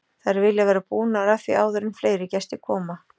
Þær vilja vera búnar að því áður en fleiri gestir koma.